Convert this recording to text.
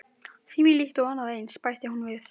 Þvílíkt og annað eins- bætti hún við.